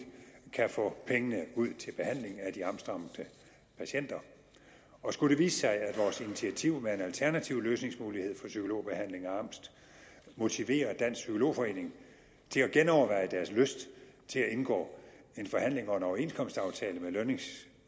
kan få pengene ud til behandling af de angstramte patienter og skulle det vise sig at vores initiativ med en alternativ løsningsmulighed for psykologbehandling af angst motiverer dansk psykolog forening til at genoverveje deres lyst til at indgå i en forhandling om en overenskomstaftale med lønnings